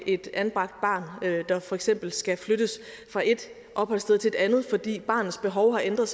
et anbragt barn der for eksempel skal flyttes fra et opholdssted til et andet fordi barnets behov har ændret